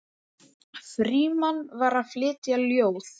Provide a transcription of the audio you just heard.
Frímann var að flytja ljóð.